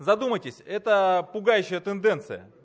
задумайтесь это пугающая тенденция